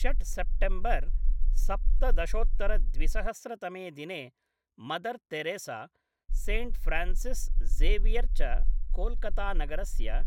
षट्से प्टेम्बर् सप्तदशोत्तर द्विसहस्र तमे दिने Mother Teresa, Saint Francis Xavier च कोल्कता नगरस्य